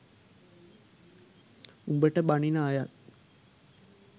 උඹට බනින අයත්